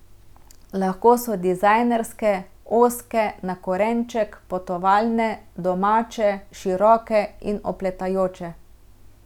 Lahko so dizajnerske, ozke, na korenček, potovalne, domače, široke in opletajoče.